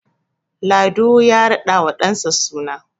Lado ya radawa ɗansa suna